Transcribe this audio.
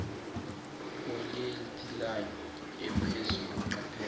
polyethylene ephezulu qaphela